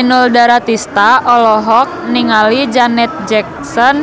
Inul Daratista olohok ningali Janet Jackson